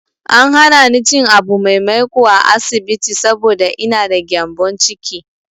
An hana ni cin abu mai maiƙo a asibiti saboda ina da gyambon ciki.